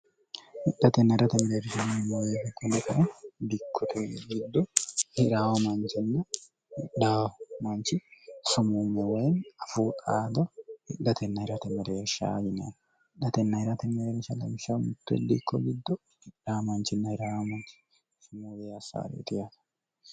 hidhatenna irate mireershnn mooyee koneta dikkoter giddo hir mancinna d manchi sumummo wayini afuu xaado hidhatenna irte mereershyinen hidhtenn irnsgsmdikko giddod manchinn hir manchismbeassaari itiyate